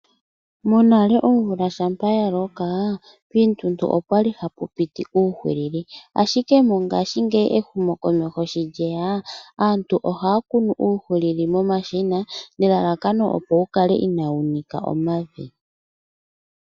Monale omvula shampa yaloka piituntu opwali hapu piti uuhilili ashike mongashingeyi ehumo komeho sho lyeya aantu oha kunu mo mashina po wukale ina wunika omavi.